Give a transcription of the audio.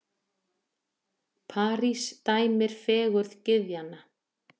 París dæmir fegurð gyðjanna.